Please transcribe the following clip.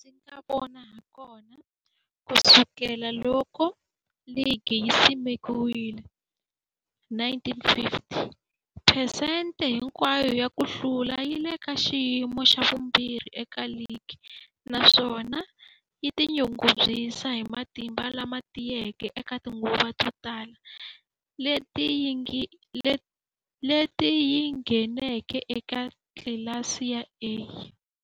Hilaha ndzi nga vona hakona, ku sukela loko ligi yi simekiwile, 1950, phesente hinkwayo ya ku hlula yi le ka xiyimo xa vumbirhi eka ligi, naswona yi tinyungubyisa hi matimba lama tiyeke eka tinguva to tala leti yi ngheneke eka tlilasi ya A.